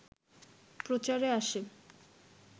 প্রচারে আসে